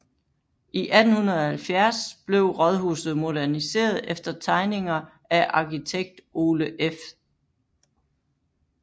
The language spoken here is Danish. I 1870 blev rådhuset moderniseret efter tegninger af arkitekt Ole F